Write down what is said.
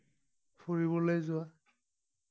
ফুৰিবলৈ যোৱা